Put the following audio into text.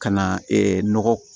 Ka na nɔgɔ